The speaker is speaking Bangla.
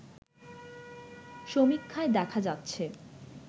সমীক্ষায় দেখা যাচ্ছে